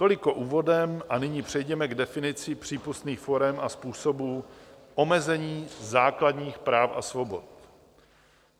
Toliko úvodem a nyní přejděme k definici přípustných forem a způsobů omezení základních práv a svobod.